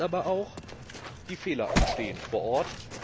Das heißt aber auch Die Fehler entstehen vor Ort.